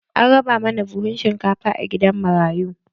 An raba mana buhun shinkafa a gidan marayu.